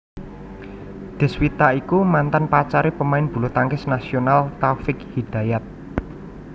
Deswita iku mantan pacare pemain bulutangkis nasional Taufik Hidayat